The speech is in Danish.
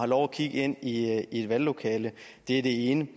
lov at kigge ind i et valglokale det er det ene